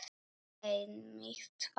Einmitt það.